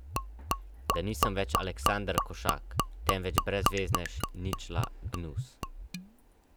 Da nisem več Aleksander Košak, temveč brezveznež, ničla, gnus.